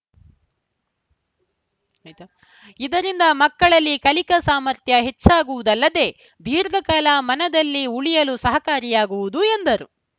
ಇದರಿಂದ ಮಕ್ಕಳಲ್ಲಿ ಕಲಿಕಾ ಸಾಮರ್ಥ್ಯ ಹೆಚ್ಚಾಗುವುದಲ್ಲದೇ ದೀರ್ಘಕಾಲ ಮನದಲ್ಲಿ ಉಳಿಯಲು ಸಹಕಾರಿಯಾಗುವುದು ಎಂದರು